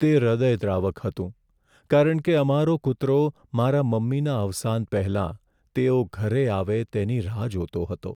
તે હૃદયદ્રાવક હતું કારણ કે અમારો કૂતરો મારાં મમ્મીના અવસાન પહેલાં તેઓ ઘરે આવે તેની રાહ જોતો હતો.